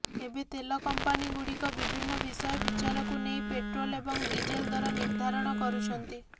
ଏବେ ତେଲ କଂପାନିଗୁଡ଼ିକ ବିଭିନ୍ନ ବିଷୟ ବିଚାରକୁ ନେଇ ପେଟ୍ରୋଲ୍ ଏବଂ ଡିଜେଲ ଦର ନିର୍ଧାରଣ କରୁଛନ୍ତି